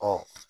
Ɔ